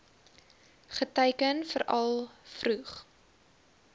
geteiken veral vroeg